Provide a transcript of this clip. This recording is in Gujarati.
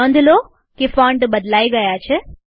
નોંધ લો કે ફોન્ટ બદલાઈ ગયા છે